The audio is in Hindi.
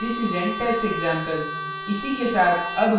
this is an test example